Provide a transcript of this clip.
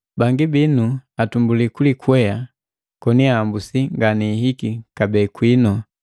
Bangi binu atumbuli kulikwea koni ahambusi ngani hiki kabee kwinu.